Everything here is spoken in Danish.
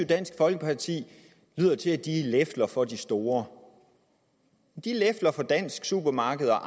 dansk folkeparti lefler for de store de lefler for dansk supermarked og